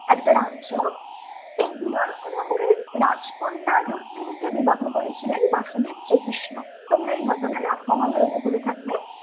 একটা রাজ্য এই বিদর ভুনগরের রাজকন্যার রুক্মিণী কে বিবাহ করেছিলেন বাসুদেব শ্রীকৃষ্ণ তোমরা এই ঘটনা মহাভারতে পড়ে থাকবে